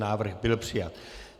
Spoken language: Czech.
Návrh byl přijat.